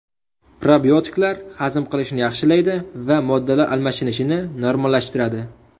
Probiotiklar hazm qilishni yaxshilaydi va modda almashinishini normallashtiradi.